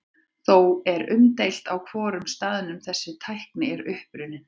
Þó er umdeilt á hvorum staðnum þessi tækni er upprunnin.